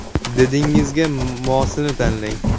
Didingizga mosini tanlang!